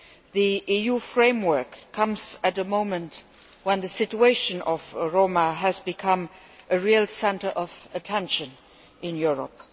The EU framework comes at a moment when the situation of Roma has become a real focus of attention in Europe.